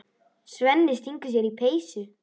Svenni stingur sér í peysu.